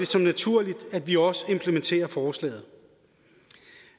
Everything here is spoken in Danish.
som naturligt at vi også implementerer forslaget